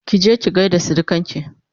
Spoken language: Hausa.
kije ki gaida surukanki!